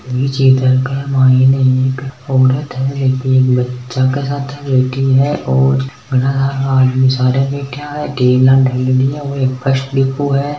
ई चित्र क माईन एक औरत है एक बच्चा के साथ बैठी है और घना सार का आदमी सार बैठ्या है टेबलां ढ़ालेड़ी है ओ एक बस डिपो है।